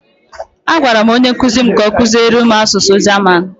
A gwara m onye nkuzi m ka ọ kuziere m asụsụ German.